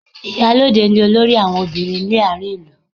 Ìyálóde ni olórí àwọn ọbìnrin ní àárín ìlú